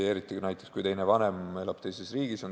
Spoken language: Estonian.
Eriti näiteks siis, kui teine vanem elab teises riigis.